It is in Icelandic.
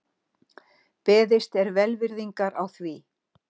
Beðist er velvirðingar á því